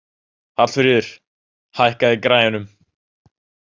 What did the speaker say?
Hallfríður, hækkaðu í græjunum.